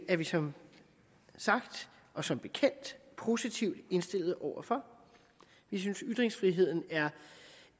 er vi som sagt og som bekendt positivt indstillet over for vi synes ytringsfriheden er